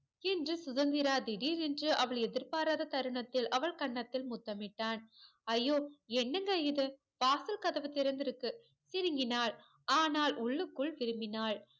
என்று சுதந்திரா திடீர் என்று அவள் எதிர்பாராத தருணத்தில் அவள் கண்ணத்தில் முத்தமிட்டான் அய்யோ என்னங்க இது வாசல் கதவு திறந்துருக்கு சினுங்கினால் ஆனால் உள்ளுக்குள் விரும்பினால்